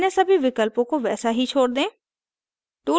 अन्य सभी विकल्पों को वैसा ही छोड़ दें